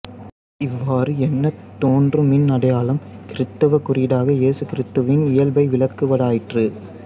இவ்வாறு எனத் தோன்றும் மீன் அடையாளம் கிறித்தவக் குறியீடாக இயேசு கிறித்துவின் இயல்பை விளக்குவதாயிற்று